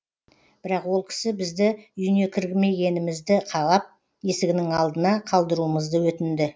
бірақ ол кісі бізді үйіне кірмегенімізді қалап есігінің алдына қалдыруымызды өтінді